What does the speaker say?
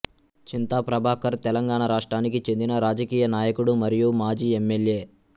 చింతా ప్రభాకర్ తెలంగాణ రాష్ట్రానికి చెందిన రాజకీయ నాయకుడు మరియు మాజీ ఎమ్మెల్యే